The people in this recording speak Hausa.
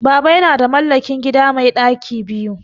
Baba yana da mallakin gida mai ɗaki biyu